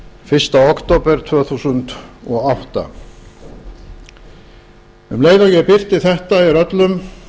fyrsta október tvö þúsund og átta um leið og ég birti þetta er öllum